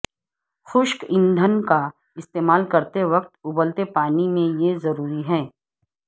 خشک ایندھن کا استعمال کرتے وقت ابلتے پانی میں یہ ضروری ہے